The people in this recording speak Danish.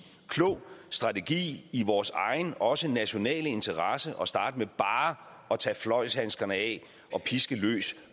klog strategi i vores egen også nationale interesse at starte med bare at tage fløjlshandskerne af og piske løs